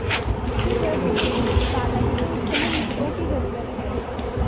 फिर वह बोले दादाजी को इस समय मित्रों की ज़रूरत है